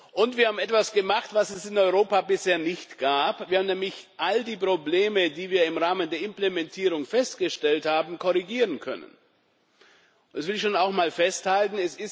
Und wir haben etwas gemacht, was es in Europa bisher nicht gab, wir haben nämlich all die Probleme, die wir im Rahmen der Implementierung festgestellt haben, korrigieren können. Das will ich auch festhalten.